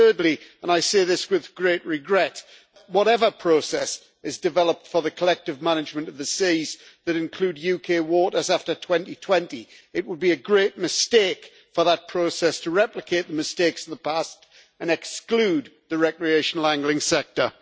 And thirdly and I say this with great regret whatever process is developed for the collective management of the seas that include UK waters after 2020, it would be a great mistake for that process to replicate the mistakes of the past and exclude the recreational angling sector.